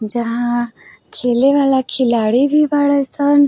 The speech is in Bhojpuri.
जहां खेले वाला खिलाड़ी भी बाड़े सन।